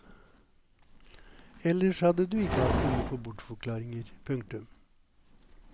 Ellers hadde du ikke hatt behov for bortforklaringer. punktum